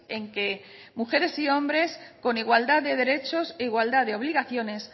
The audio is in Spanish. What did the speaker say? en que mujeres y hombres con igualdad de derechos e igualdad de obligaciones